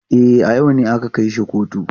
E, a yau ne aka kai shi kotu.